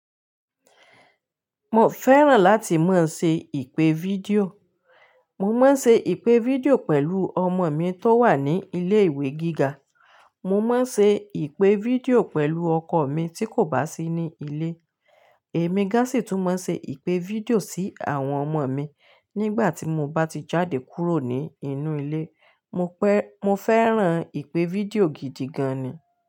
Mo fẹ́ràn láti máa ń ṣe ìpè fídíò. Mo máa ń ṣe ìpè fídíò pẹ̀lú ọmọ mi tó wà ní ilé-ìwé gíga. Mo máa ń ṣe ìpè fídíò pẹ̀lú ọkọ mi tí kò bá sí ní ilé. Èmi gán sì tún máa ń ṣe ìpè fídíò sí àwọn ọmọ mi nígbà tí mo bá ti jáde kúrò ní inú ilé. Mo fẹ́ràn ìpè fídíò gidi gan an ni.